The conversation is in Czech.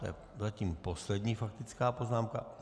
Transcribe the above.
To je zatím poslední faktická poznámka.